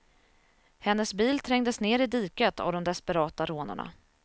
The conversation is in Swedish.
Hennes bil trängdes ner i diket av de desperata rånarna.